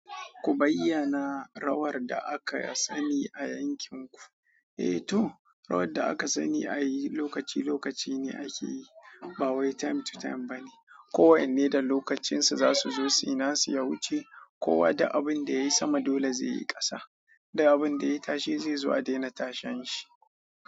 Ku bayyana rawar da aka sani a yankin ku. Eh to, rawar da aka sani a yi lokaci lokaci ne ake yi ba wai time to time ba ne. Ko wanne da lokacinsa za su zo suyi nasu yawuce, kowa duk abin da yayi sama dole zai yi ƙasa, duk abin da yayi tashe zai zo a daina tashen shi.